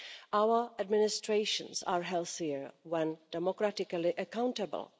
Our administrations are healthier when democratically accountable.